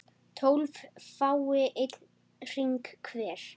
tólf fái einn hring hver